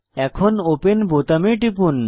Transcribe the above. এখন ওপেন বোতামে টিপুন